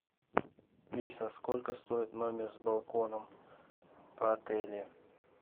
алиса сколько стоит номер с балконом в отеле